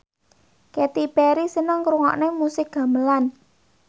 Katy Perry seneng ngrungokne musik gamelan